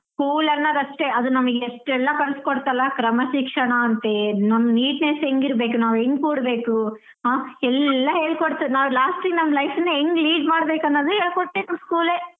School ಅನ್ನೋದು ಅಷ್ಟೆ ಅದು ನಮಿಗ್ ಎಷ್ಟೆಲ್ಲಾ ಕಲ್ಸ್ ಕೊಡ್ತಲ್ಲಾ ಕ್ರಮ ಶಿಕ್ಷಣ ಅಂತೇ ನಮ್ neatness ಹೆಂಗ್ ಇರ್ಬೇಕು ನಾವ್ ಹೆಂಗ್ ಕೂಡ್ಬೇಕು ಆಹ್ ಎಲ್ಲಾ ಹೇಳಿ ಕೊಡ್ತು ನಾವ್ last ಗೆ ನಮ್ life ನಾ ಹೆಂಗ್ lead ಮಾಡ್ಬೇಕು ಅನ್ನೋದ್ ಕೂಡಾ ಹೇಳ್ಕೊಟ್ರು ನಮ್ school ದಯದಿಂದ.